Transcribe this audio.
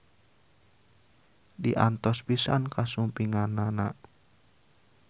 Diantos pisan kasumpinganana.